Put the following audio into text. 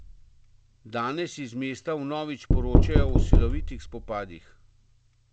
Danes iz mesta vnovič poročajo o silovitih spopadih.